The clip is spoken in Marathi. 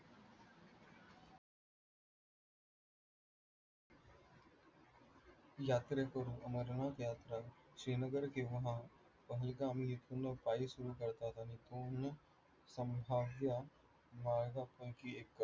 यात्रेकरू अमरनाथ यात्रा श्रीनगर पहलगामी इथून पायी सुरू करतात, आणि पूर्ण मार्गापैकी एक